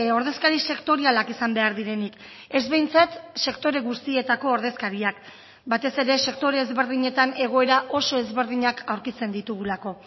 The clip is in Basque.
ordezkari sektorialak izan behar direnik ez behintzat sektore guztietako ordezkariak batez ere sektore ezberdinetan egoera oso ezberdinak aurkitzen ditugulako